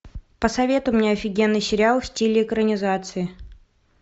посоветуй мне офигенный сериал в стиле экранизации